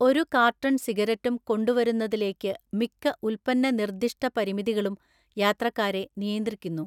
ഒരു കാർട്ടൺ സിഗരറ്റും കൊണ്ടുവരുന്നതിലേക്ക് മിക്ക ഉൽപ്പന്നനിർദ്ദിഷ്ട പരിമിതികളും യാത്രക്കാരെ നിയന്ത്രിക്കുന്നു.